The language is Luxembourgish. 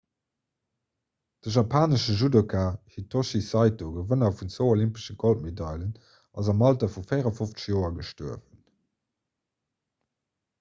de japanesche judoka hitoshi saito gewënner vun zwou olympesche goldmedailen ass am alter vu 54 joer gestuerwen